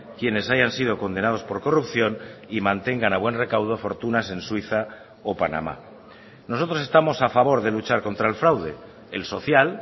quienes hayan sido condenados por corrupción y mantengan a buen recaudo fortunas en suiza o panamá nosotros estamos a favor de luchar contra el fraude el social